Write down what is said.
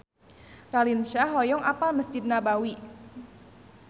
Raline Shah hoyong apal Mesjid Nabawi